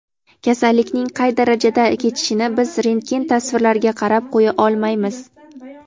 kasallikning qay darajada kechishini biz rentgen tasvirlariga qarab qo‘ya olmaymiz.